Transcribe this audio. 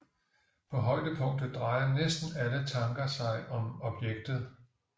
På højdepunktet drejer næsten alle tanker sig om objektet